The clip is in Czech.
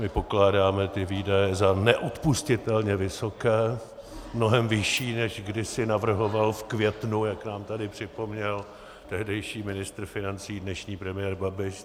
My pokládáme ty výdaje za neodpustitelně vysoké, mnohem vyšší, než kdysi navrhoval v květnu, jak nám tady připomněl, tehdejší ministr financí, dnešní premiér Babiš.